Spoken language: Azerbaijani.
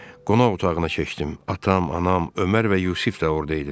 Qonaq otağına keçdim, atam, anam, Ömər və Yusif də orada idilər.